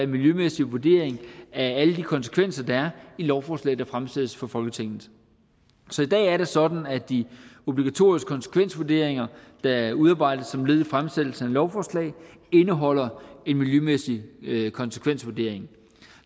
miljømæssig vurdering af alle de konsekvenser der er i lovforslag der fremsættes for folketinget så i dag er det sådan at de obligatoriske konsekvensvurderinger der udarbejdes som led i fremsættelsen af lovforslag indeholder en miljømæssig konsekvensvurdering